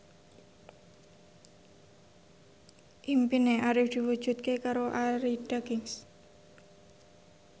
impine Arif diwujudke karo Arie Daginks